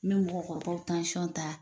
N ɲɛ mɔgɔkɔrɔbaw aw tansiyɔn ta.